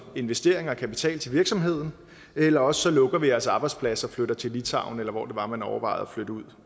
investering i og kapital til virksomheden eller også lukker vi jeres arbejdsplads og flytter til litauen eller hvor det var man overvejede at flytte ud